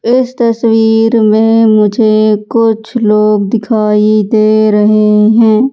इस तस्वीर में मुझे कुछ लोग दिखाई दे रहे हैं।